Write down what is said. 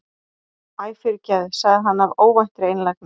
Æ, fyrirgefðu- sagði hann af óvæntri einlægni.